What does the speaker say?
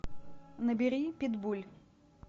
набери питбуль